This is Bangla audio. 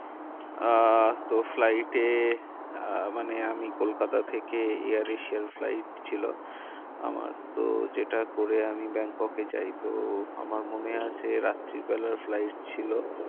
আহ তো flight এ আহ মানে আমি কলকাতা থেকে air asia flight ছিল। আমার তো যেটা করে আমি ব্যাংকক এ যাই তো আমার মনে আছে রাত্রি বেলার flight ছিল।